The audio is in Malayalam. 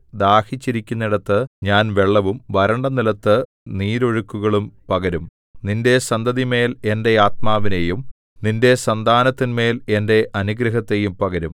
ദാഹിച്ചിരിക്കുന്നിടത്ത് ഞാൻ വെള്ളവും വരണ്ട നിലത്തു നീരൊഴുക്കുകളും പകരും നിന്റെ സന്തതിമേൽ എന്റെ ആത്മാവിനെയും നിന്റെ സന്താനത്തിന്മേൽ എന്റെ അനുഗ്രഹത്തെയും പകരും